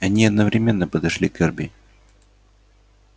они одновременно подошли к эрби